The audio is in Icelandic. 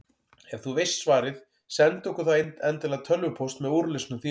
Ef þú veist svarið, sendu okkur þá endilega tölvupóst með úrlausnum þínum.